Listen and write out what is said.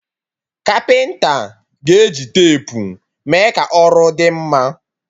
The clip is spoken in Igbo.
Kapịnta ga-eji tepu mee ka ọrụ dị mma